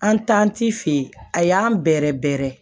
An fɛ yen a y'an bɛrɛrɛ bɛrɛ